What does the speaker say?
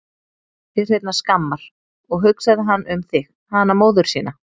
Til hreinnar skammar, og hugsaði hann um þig, hana móður sína?